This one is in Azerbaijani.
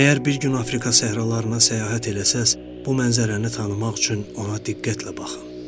Əgər bir gün Afrika səhralarına səyahət eləsəz, o mənzərəni tanımaq üçün ona diqqətlə baxın.